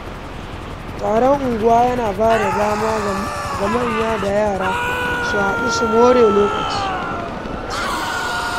Taron unguwa yana ba da dama ga manya da yara su hadu su more lokaci.